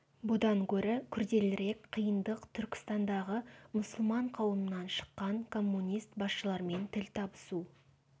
бұдан гөрі күрделірек қиындық түркістандағы мұсылман қауымынан шыққан коммунист басшылармен тіл табысу